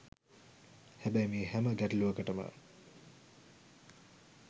හැබැයි මේ හැම ගැටලුවකටම